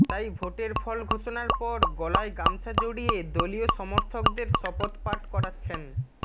তাই ভোটের ফল ঘোষণার পর গলায় গামছা জড়িয়ে দলীয় সমর্থকদের শপথ পাঠ করাচ্ছেন